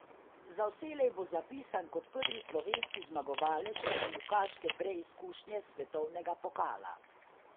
Za vselej bo zapisan kot prvi slovenski zmagovalec smukaške preizkušnje svetovnega pokala.